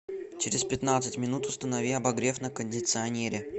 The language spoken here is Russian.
через пятнадцать минут установи обогрев на кондиционере